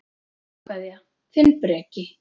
Kveðja, þinn Breki.